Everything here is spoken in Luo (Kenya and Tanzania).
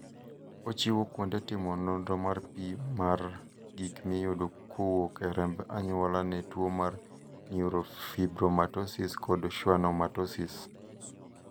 ochiwo kuonde timo nonro mar pim mar gik miyudo kowuok e remb anyuola ne tuo mar neurofibromatosis kod schwannomatosis.